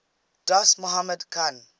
dost mohammad khan